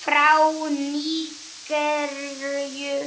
frá Nígeríu